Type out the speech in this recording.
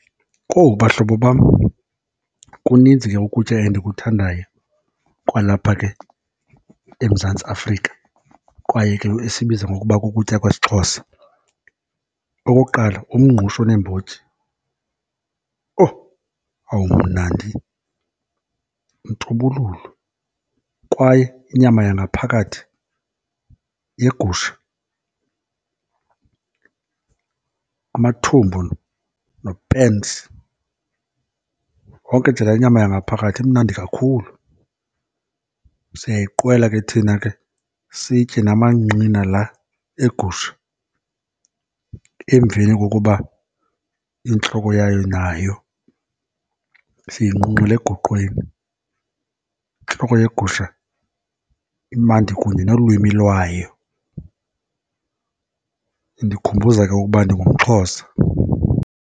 Kowu bahlobo bam, kuninzi ke ukutya endikuthandayo kwalapha ke eMzantsi Afrika, kwaye ke esibiza ngokuba kukutya kwesiXhosa. Okokuqala, umngqusho oneembotyi. Owu awumnandi, untubululu, kwaye inyama yangaphakathi yegusha, amathumbu nopens, yonke nje laa nyama yangaphakathi imnandi kakhulu. Siyayiqwela ke thina ke, sitye namanqina la egusha emveni kokuba intloko yayo nayo siyinqunqele egoqweni. Intloko yegusha imandi kunye nolwimi lwayo, indikhumbuza ke ukuba ndimgumXhosa.